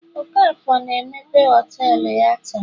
okafor na emepe họtelu ya taa